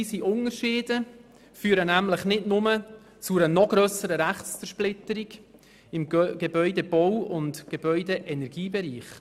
Noch weitere Unterschiede zwischen den Gemeinden führen nämlich nicht nur zu einer noch grösseren Rechtszersplitterung im Gebäudebau- und im Gebäudeenergiebereich.